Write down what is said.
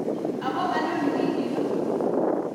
Akoi anyo wikit no.